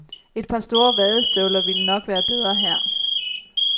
Et par store vadestøvler ville nok være bedre her.